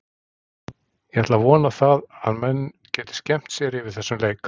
Ég ætla að vona það að menn geti skemmt sér yfir þessum leik.